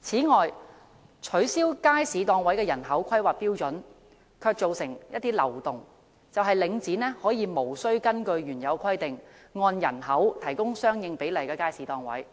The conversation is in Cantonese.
此外，取消街市檔位按照人口釐定的標準卻造成漏洞，就是領展可以無須根據原有規定，按人口提供相應比例的街市檔位，